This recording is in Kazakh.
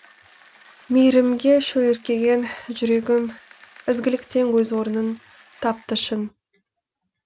мейірімге шөліркеген жүрегім ізгіліктен өз орынын тапты шын